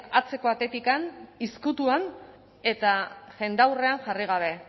atzeko atetik ezkutuan eta jendaurrean jarri gabe